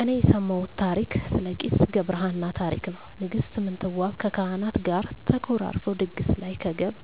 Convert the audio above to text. እኔ የሰማውት ታሪክ ስለ ቄስ ገብርሃና ታሪክ ነው ንግስት ምንትዋብ ከካህናት ጋር ተኮራርፈው ድግስ ላይ ከገብ